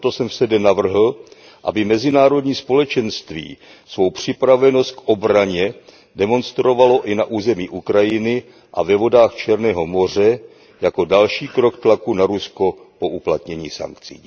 Proto jsem v SEDE navrhl, aby mezinárodní společenství svou připravenost k obraně demonstrovalo i na území Ukrajiny a ve vodách Černého moře jako další krok tlaku na Rusko po uplatnění sankcí.